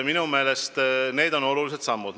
Minu meelest need on olulised sammud.